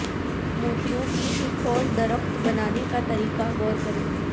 موتیوں کی ایک اور درخت بنانے کا طریقہ غور کریں